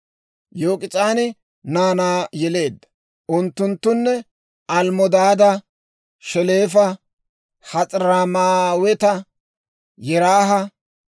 Yok'is'aani naanaa yeleedda. Unttunttune: Almmodaada, Sheleefa, Has'armmaaweta, Yeraaha,